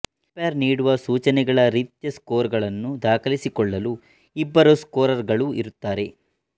umpire ನೀಡುವ ಸೂಚನೆಗಳ ರೀತ್ಯಾ ಸ್ಕೋರ್ ಗಳನ್ನು ದಾಖಲಿಸಿಕೊಳ್ಳಲು ಇಬ್ಬರು ಸ್ಕೋರರ್ ಗಳು ಇರುತ್ತಾರೆ